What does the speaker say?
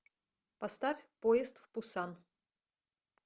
поставь поезд в пусан